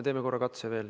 Teeme korra veel katse.